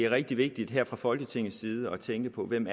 rigtig vigtigt her fra folketingets side at tænke på hvem